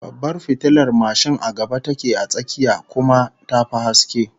Babbar fitilar mashin a gaba take a tsakiyar, kuma ta fi haske